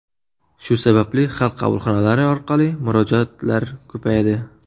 Shu sababli Xalq qabulxonalari orqali murojaatlar ko‘paydi.